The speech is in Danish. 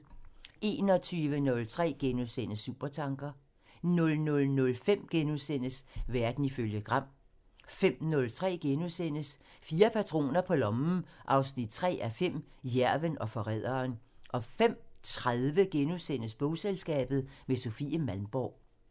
21:03: Supertanker *(tir) 00:05: Verden ifølge Gram *(tir) 05:03: Fire patroner på lommen 3:5 – Jærven og forræderen * 05:30: Bogselskabet – med Sofie Malmborg *